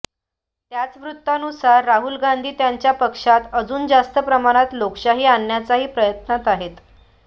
याच वृत्तानुसार राहुल गांधी त्यांच्या पक्षात अजून जास्त प्रमाणात लोकशाही आणण्याच्याही प्रयत्नांत आहेत